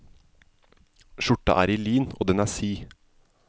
Skjorta er i lin, og den er sid.